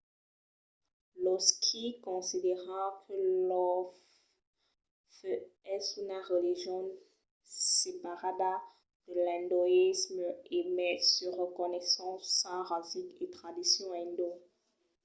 los sikhs consideran que lor fe es una religion separada de l'indoïsme e mai se reconeisson sas rasics e tradicions indós